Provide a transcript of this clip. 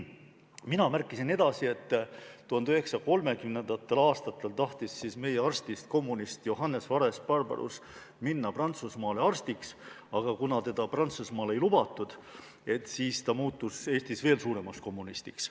Mina märkisin, et 1930. aastatel tahtis meie kommunistist arst Johannes Vares-Barbarus minna Prantsusmaale arstiks, aga kuna teda Prantsusmaale ei lubatud, siis ta muutus Eestis veel suuremaks kommunistiks.